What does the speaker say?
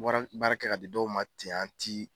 Wara baara kɛ ka di dɔw ma ten an t'i